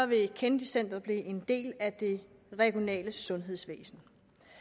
vil kennedy centret blive en del af det regionale sundhedsvæsen